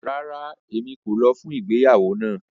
Rárá, Emi ko lọ fun igbeyawo náà